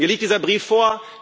Mir liegt dieser Brief vor.